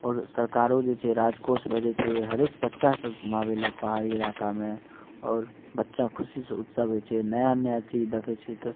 और सरकारों जे छै राजकोष में जे छै हर एक बच्चा के घुमाबे ले पहाड़ी इलाका में और बच्चा खुशी से उत्सव होय छै नया-नया चीज देखे छै ते --